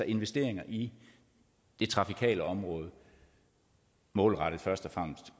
investeringer i det trafikale område målrettet først